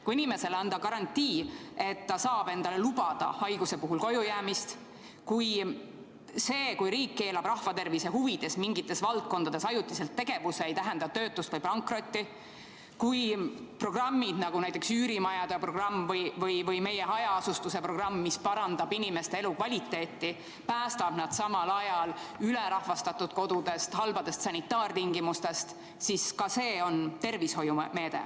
Kui inimesele anda garantii, et ta saab endale lubada haiguse puhul kojujäämist; see, kui riik keelab rahvatervise huvides mingites valdkondades ajutiselt tegevuse, ei tähenda töötust või pankrotti; kui programmid, nagu näiteks üürimajade programm või meie hajaasustuse programm, mis parandab inimeste elukvaliteeti, päästab nad samal ajal ülerahvastatud kodudest, halbadest sanitaartingimustest – ka see on tervishoiumeede.